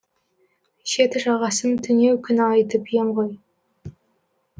шет жағасын түнеу күні айтып ем ғой